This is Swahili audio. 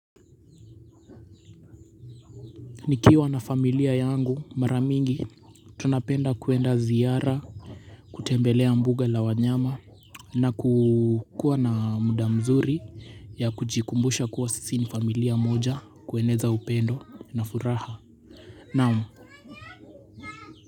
Nikiwa na familia yangu mara mingi tunapenda kwenda ziara, kutembelea mbuga la wanyama na kukuwa na muda mzuri ya kujikumbusha kuwa sisi ni familia moja, kueneza upendo na furaha naam.